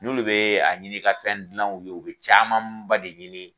N'olu be a ɲini ka fɛn gilan u ye, u be camanba de ɲini